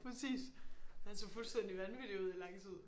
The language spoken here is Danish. Præcis! Han så fuldstændig vanvittig ud i lang tid